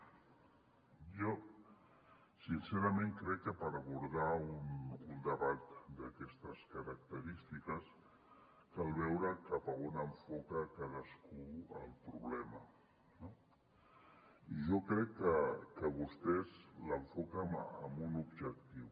jo sincerament crec que per abordar un debat d’aquestes característiques cal veure cap a on enfoca cadascú el problema no i jo crec que vostès l’enfoquen amb un objectiu